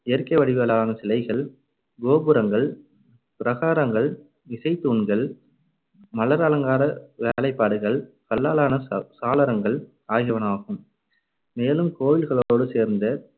இயற்கை வடிவுகளான சிலைகள், கோபுரங்கள், பிரகாரங்கள், இசைத்தூண்கள் மலர் அலங்கார வேலைப்பாடுகள், கல்லால் ஆன ச~ சாளரங்கள் ஆகியனவாகும். மேலும் கோவில்களோடு சேர்ந்து